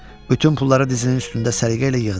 Bütün pulları dizinin üstündə səliqə ilə yığdı.